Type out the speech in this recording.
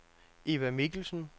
Eva Mikkelsen